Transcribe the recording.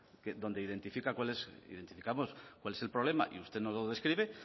donde identifica cuál identificamos cuál es el problema y usted no lo describe